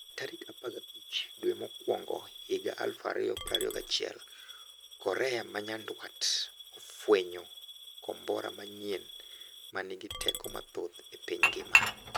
Tarik 15 dwe mokwongohiga 2021 korea manyandwat ofwenyo kombora manyien manigi teko mathoth e piny ngima.